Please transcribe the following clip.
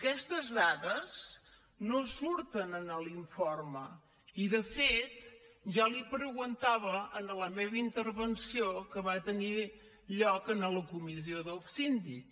aquestes dades no surten en l’informe i de fet ja l’hi preguntava en la meva intervenció que va tenir lloc en la comissió del síndic